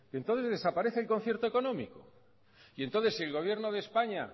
entonces desaparece el concierto económico y entonces si el gobierno de españa